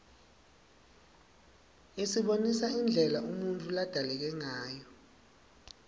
isibonisa indlela umuntfu ladalekangayo